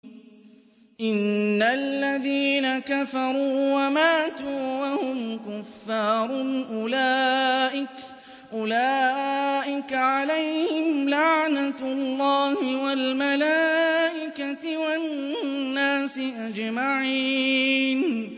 إِنَّ الَّذِينَ كَفَرُوا وَمَاتُوا وَهُمْ كُفَّارٌ أُولَٰئِكَ عَلَيْهِمْ لَعْنَةُ اللَّهِ وَالْمَلَائِكَةِ وَالنَّاسِ أَجْمَعِينَ